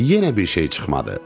Yenə bir şey çıxmadı.